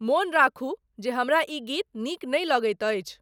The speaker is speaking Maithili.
मोन राखू जे हमरा ई संगीत नीक नहि लगइत अछि।